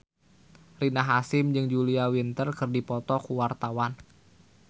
Rina Hasyim jeung Julia Winter keur dipoto ku wartawan